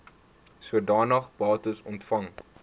sodanige bates ontvang